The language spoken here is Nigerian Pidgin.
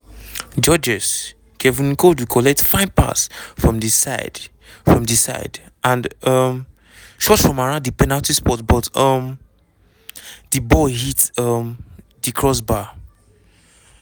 georges-kevin n'koudou collect fine pass from di side from di side and um shoot from around di penalty spot but um di ball hit um di crossbar.